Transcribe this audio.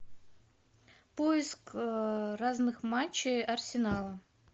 поиск разных матчей арсенала